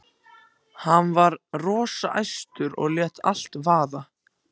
Hann var rosa æstur og lét allt vaða.